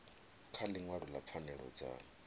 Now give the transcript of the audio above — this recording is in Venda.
kha ḽiṅwalo ḽa pfanelo dza